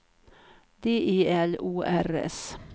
D E L O R S